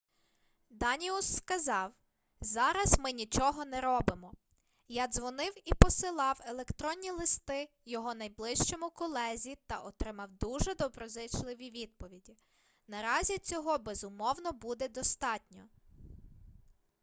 даніус сказав зараз ми нічого не робимо я дзвонив і посилав електронні листи його найближчому колезі та отримав дуже доброзичливі відповіді наразі цього безумовно буде достатньо